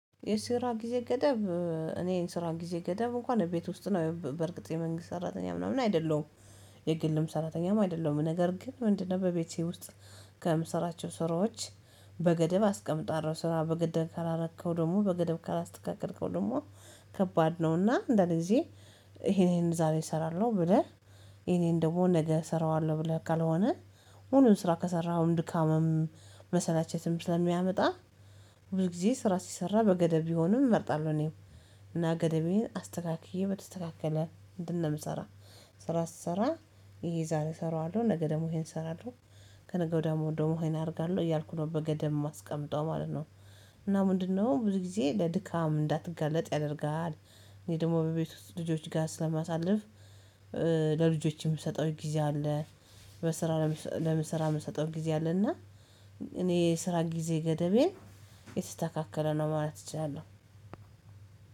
የስራ ጊዜ ገደብ። እኔ የስራ ጊዜ ገደብ እንኳን ቤት ውስጥ ነው በርግጥ የመንግስት ሰራተኛ ምናምን አይደለሁም። የግልም ሰራተኛም አይደለሁም ነገር ግን ምንድነው? በቤቴ ውስጥ ከምሰራቸው ስራዎች። በገደብ አስቀምጣለሁ ስራ በገደብ ካላረከው ደግሞ በገደብ ካላስተካከልከው ደግሞ ከባድ ነውና አንዳንድጊዜ። ይሄ ይሄን ዛሬ እሰራለሁ ብለህ ይሄን ይሄን ደግሞ ነገ እሰራዋለሁ ብለህ ካልሆነ። ሁሉም ስራ ከሰራኸው ድካምም መሰላቸትም ስለሚያመጣ። ብዙ ጊዜ ስራ ሲሰራ በገደብ ቢሆንም እመርጣለሁ እኔም። እና ገደቤን አስተካክዬ በተስተካከለ እንትን ምሰራ ስራ ስሰራ ይሄ ዛሬ እሰራዋለሁ ነገ ደግሞ ይሄን እሰራለሁ ከነገው ወድያ ደግሞ ይሄን አደርጋለሁ እያልኩ ነው በገደብ የማስቀምጠው ማለት ነው። እና ምንድነው? ብዙ ጊዜ ለድካም እንዳትጋለጥ ያደርጋል። እኔ ደግሞ በቤት ልጆች ጋር ስለማሳልፍ። ለልጆች የምሰጠው ጊዜ አለ። በስራ ለም ስራ የምሰጠው ጊዜ አለና። እኔ ስራ ጊዜ ገደቤን የተስተካከለ ነው ማለት እችላለካከለ ነው ማለት እችላለሁ